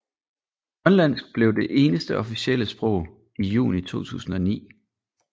Grønlandsk blev det eneste officielle sprog i juni 2009